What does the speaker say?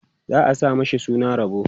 za'a sa mashi suna Rabo